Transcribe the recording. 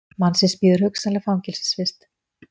Mannsins bíður hugsanlega fangelsisvist